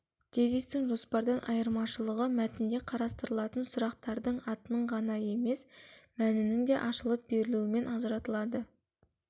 тезистің жоспардан айырмашылығы мәтінде қарастырылатын сұрақтардың атының ғана емес мәнінің де ашылып берілуімен ажыратылады